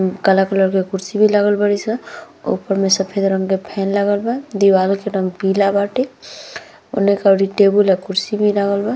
उम काला कलर के कुर्सी भी लागल बारी सन ऊपर मे सफ़ेद रंग के फैन लागल बा दीवाल के रंग पीला बाटे ओने करी टेबुल और कुर्सी भी लागल बा।